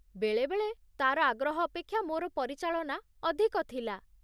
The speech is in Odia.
ବେଳେବେଳେ ତାର ଆଗ୍ରହ ଅପେକ୍ଷା ମୋର ପରିଚାଳନା ଅଧିକ ଥିଲା।